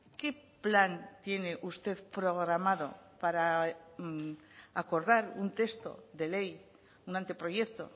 qué plan tiene usted programado para acordar un texto de ley un anteproyecto